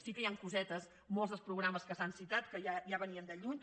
sí que hi han cosetes molts dels programes que s’han citat que ja venien de lluny